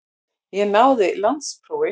Ég náði landsprófi.